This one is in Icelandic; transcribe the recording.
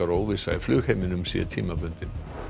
óvissa í flugheiminum sé tímabundin